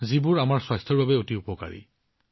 যিটো আমাৰ স্বাস্থ্যৰ বাবে অতি উপকাৰী